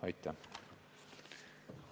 Aitäh!